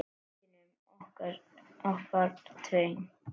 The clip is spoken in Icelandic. Gæjunum okkar tveim.